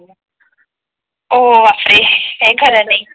हो बापरे काही खर नाही